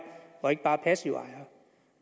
og ikke bare passive ejere